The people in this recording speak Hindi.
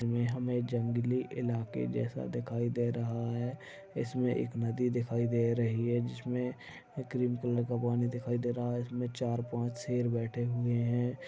इसमे हमे जंगली इलाके जैसा दिखाई दे रहा है इसमे एक नदी दिखाई दे रही है जिसमे क्रीम कलर का पानी दिखाई दे रहा है इसमे चार-पाँच शेर बैठे हुए है।